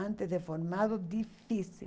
Antes de formado, difícil.